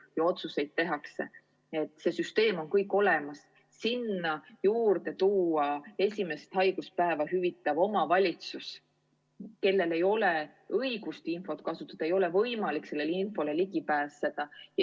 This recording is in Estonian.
See süsteem on kõik olemas, sinna juurde ei saa tuua esimest haiguspäeva hüvitava omavalitsuse, kellel ei ole õigustki infot kasutada, ei ole võimalik sellele infole ligi pääseda.